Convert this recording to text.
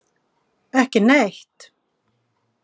Ekki neitt.